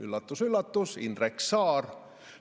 Üllatus-üllatus: Indrek Saar.